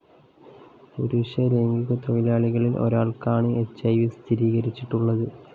പുരുഷലൈംഗിക തൊഴിലാളികളില്‍ ഒരാള്‍ക്കാണ് H I V സ്ഥിരീകരിച്ചിട്ടുളളത്